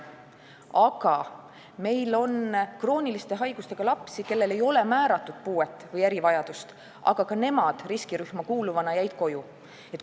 Aga meil on ka selliseid krooniliste haigustega lapsi, kellele ei ole määratud puuet või erivajadust, kuid nemadki jäid riskirühma kuuluvana koju.